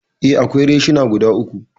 Eh, akwai reshina guda uku.